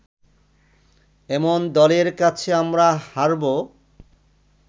এমন দলের কাছে আমরা হারবো